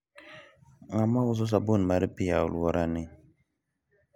ng'a ma uso sabun mar pi e alwora ni?